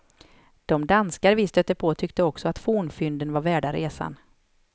De danskar vi stötte på tyckte också att fornfynden var värda resan.